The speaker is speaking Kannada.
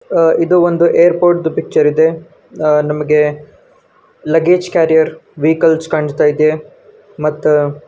ಅ ಇದು ಒಂದು ಏರ್ಪೋರ್ಟ್ ದೂ ಪಿಕ್ಚರ್ ಇದೆ ನಮಗೆ ಲಗ್ಗೇಜ್ ಕ್ಯಾರಿಯರ್ ವೆಹಿಕಲ್ಸ ಕಾಣುಸ್ತಾಯಿದೆ ಮತ್ತ --